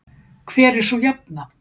hver er sú jafna